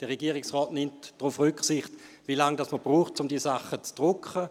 Der Regierungsrat nimmt darauf Rücksicht, wie lange man braucht, um die Sache zu drucken.